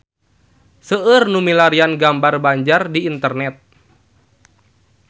Seueur nu milarian gambar Banjar di internet